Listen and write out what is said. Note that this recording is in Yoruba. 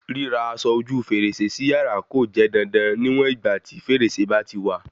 Ríra aṣọ ojú fèrèsé si yàrá kò jẹ́ dandan níwọ̀n ìgbà tí fèrèsé bá ti wà